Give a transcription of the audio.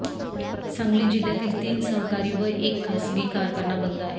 सांगली जिल्ह्यातील तीन सहकारी व एक खासगी कारखाना बंद आहे